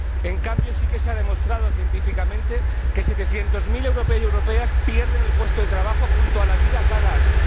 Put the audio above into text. En cambio, sí que se ha demostrado científicamente que setecientos mil europeos y europeas pierden el puesto de trabajo, junto a la vida, cada año.